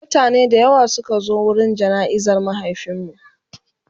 mutane da yawa Suka zo wurin jana'izar mahaifinmu